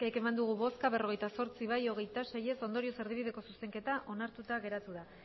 eman dugu bozka berrogeita zortzi bai hogeita sei ez ondorioz erdibideko zuzenketa onartuta geratu da